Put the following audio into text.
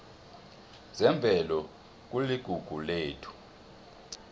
zemvelo kuligugu lethu